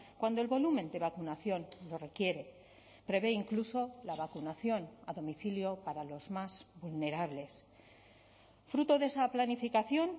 cuando el volumen de vacunación lo requiere prevé incluso la vacunación a domicilio para los más vulnerables fruto de esa planificación